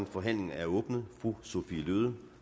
forhandlingen er åbnet fru sophie løhde